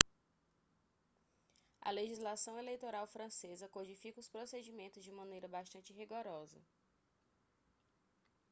a legislação eleitoral francesa codifica os procedimentos de maneira bastante rigorosa